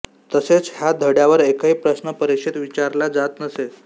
तसेच ह्या धड्यावर एकही प्रश्न परीक्षेत विचारला जात नसे